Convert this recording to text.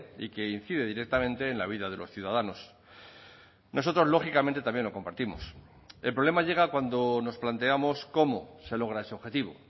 y que incide directamente en la vida de los ciudadanos nosotros lógicamente también lo compartimos el problema llega cuando nos planteamos cómo se logra ese objetivo